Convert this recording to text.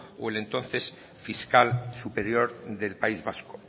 o el entonces fiscal superior del país vasco